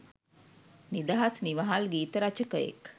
නිදහස් නිවහල් ගීත රචකයෙක්